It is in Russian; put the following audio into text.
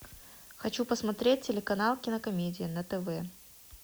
хочу посмотреть телеканал кинокомедия на тв